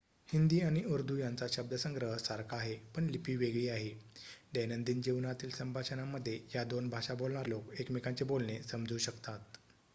हिंदी आणि उर्दू यांचा शब्दसंग्रह सारखा आहे पण लिपी वेगळी आहे दैनंदिन जीवनातील संभाषणांमध्ये या दोन भाषा बोलणारे लोक एकमेकांचे बोलणे समजू शकतात